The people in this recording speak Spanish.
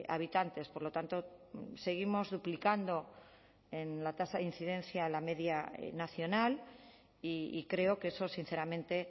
habitantes por lo tanto seguimos duplicando en la tasa de incidencia la media nacional y creo que eso sinceramente